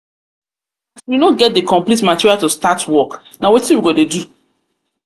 we no get the complete material to start work na wetin we go dey do?